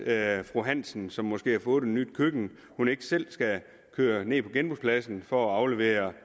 at fru hansen som måske har fået nyt køkken ikke selv skal køre ned på genbrugspladsen for at aflevere